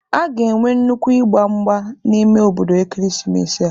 A ga-enwe nnukwu ịgba mgba n'ime obodo ekeresimesi a.